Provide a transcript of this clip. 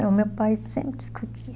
O meu pai sempre discutia.